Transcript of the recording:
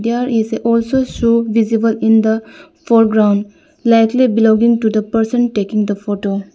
There is a also shoe visible in the foreground likely belonging to the person taking the photo.